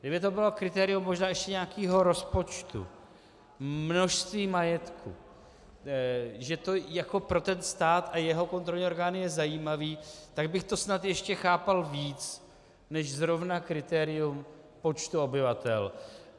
Kdyby to bylo kritérium možná ještě nějakého rozpočtu, množství majetku, že to jako pro ten stát a jeho kontrolní orgány je zajímavé, tak bych to snad ještě chápal víc než zrovna kritérium počtu obyvatel.